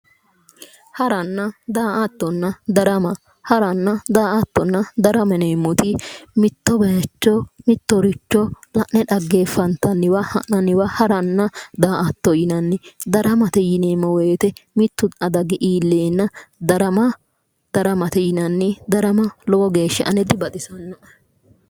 Hara daa'attinna darama yineemmoti mitto bayicho mittoricho la'ne daa'antanniwa daa'attote yinanni gobatenni gobba soori'nanniwa daramate yinanni